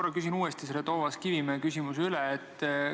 Ma küsin uuesti Toomas Kivimäe esitatud küsimuse.